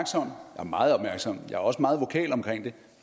er meget opmærksom jeg er også meget vokal omkring det